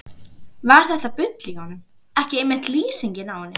Var þetta bull í honum ekki einmitt lýsingin á henni?